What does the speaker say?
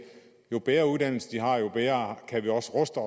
jo bedre uddannelse de har jo bedre kan vi også ruste